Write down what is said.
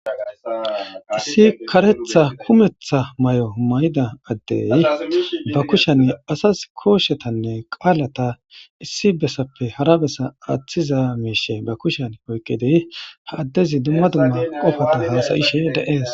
Issi kareththa kumeththa mayo mayida adey ba kushen asas kooshetanne qaalata issi bessappe hara bessa aathiza miishe ba kushan oyqidi ha addezi dumma dumma qofa hasa'ishe de'es.